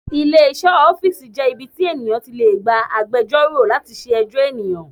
Ilé iṣẹ́ òfin jẹ́ ibi tí ènìyàn ti lè gba agbẹjọ́rò láti ṣe ẹjọ́ ènìyàn.